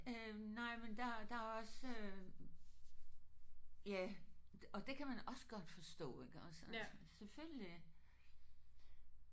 Øh nej men der der er også ja og det kan man også godt forstå iggås altså selvfølgelig